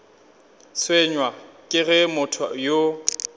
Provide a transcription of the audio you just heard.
tshwenywa ke ge motho yo